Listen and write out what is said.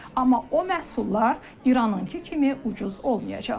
Amma o məhsullar İranınkı kimi ucuz olmayacaq.